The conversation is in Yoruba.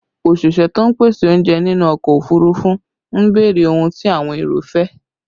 Òṣìṣẹ́ tó ń pèsè oúnjẹ nínú ọkọ òfurufú ń béèrè ohun tí àwọn èrò fẹ́